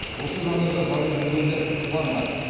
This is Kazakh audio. осы жанрда жазып жүргендер бар ма